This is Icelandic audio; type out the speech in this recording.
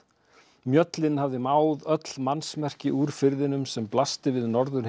mjöllin hafði máð öll úr firðinum sem blasti við